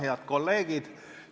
Head kolleegid!